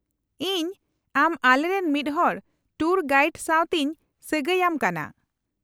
-ᱤᱧ ᱟᱢ ᱟᱞᱮ ᱨᱮᱱ ᱢᱤᱫᱦᱚᱲ ᱴᱩᱨ ᱜᱟᱤᱭᱰ ᱥᱟᱶᱛᱮᱧ ᱥᱟᱜᱟᱹᱭ ᱟᱢ ᱠᱟᱱᱟ ᱾